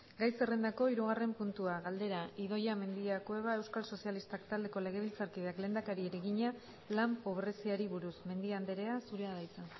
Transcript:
gai zerrendako hirugarren puntua galdera idoia mendia cueva euskal sozialistak taldeko legebiltzarkideak lehendakariari egina lan pobreziari buruz mendia andrea zurea da hitza